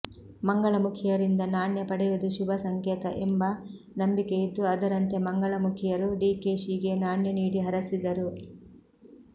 ಮಂಗಳಮುಖಿಯರಿಂದ ನಾಣ್ಯ ಪಡೆಯುವುದು ಶುಭ ಸಂಕೇತ ಎಂಬ ನಂಬಿಕೆಯಿದ್ದು ಅದರಂತೆ ಮಂಗಳಮುಖಿಯರು ಡಿಕೆಶಿಗೆ ನಾಣ್ಯ ನೀಡಿ ಹರಸಿದರು